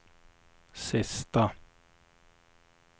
sista